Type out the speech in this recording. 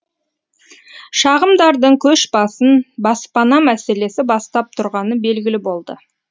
шағымдардың көш басын баспана мәселесі бастап тұрғаны белгілі болды